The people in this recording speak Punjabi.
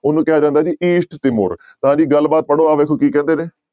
ਉਹਨੂੰ ਕਿਹਾ ਜਾਂਦਾ ਜੀ east ਤਿਮੋਰ ਤਾਂ ਜੀ ਗੱਲਬਾਤ ਪੜ੍ਹੋ ਆਹ ਵੇਖੋ ਕੀ ਕਹਿੰਦੇ ਨੇ।